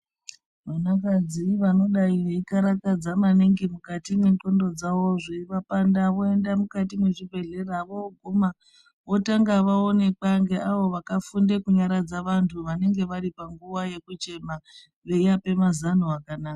Vanakadzi vanodai veikarakadza maningi mukati mwendxondo dzavo zveivanda voenda mukati mwezvibhedhleya voguma votanga vaonekwa ngeavo vakafunda kunyaradza vantu vanenge vari panguwa yekuchema veivape mazano akanaka.